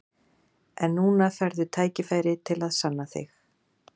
En núna færðu tækifæri til að sanna þig.